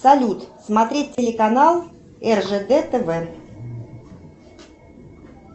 салют смотреть телеканал ржд тв